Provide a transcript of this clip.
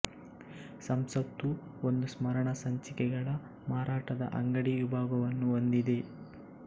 ಸಂಸತ್ತು ಒಂದು ಸ್ಮರಣ ಸಂಚಿಕೆಗಳ ಮಾರಾಟದ ಅಂಗಡಿ ವಿಭಾಗವನ್ನೂ ಹೊಂದಿದೆ